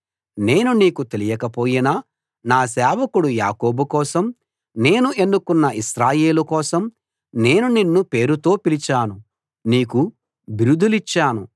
నేను నీకు తెలియకపోయినా నా సేవకుడు యాకోబు కోసం నేను ఎన్నుకున్న ఇశ్రాయేలు కోసం నేను నిన్ను పేరుతో పిలిచాను నీకు బిరుదులిచ్చాను